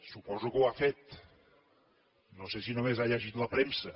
suposo que ho ha fet no sé si només ha llegit la premsa